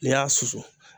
N'i y'a susu